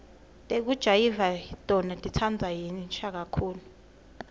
tekujayiva tona titsandvwa yinsha kakhulu